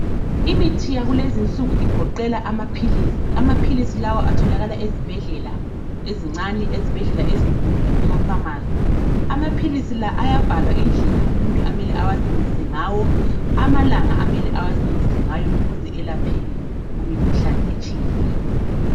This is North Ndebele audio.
Imithi yakulezi insuku igoqela amaphilisi. Amaphilisi lawa atholakala ezibhadlela ezincane, ezibhedlela ezinkulu lakumaphamarcy. Amaphilisi la ayabhalwa indlela umuntu amele awasebenzise ngawo amalanga amele awasebenzise ngawo ukuze elaphe imikhuhlane etshiyeneyo.